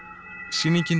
sýningin